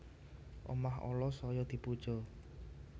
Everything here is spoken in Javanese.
Omah ala saya dipuja